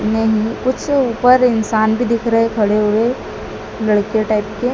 यहीं कुछ ऊपर इंसान भी दिख रहे खड़े हुए लड़के टाइप के--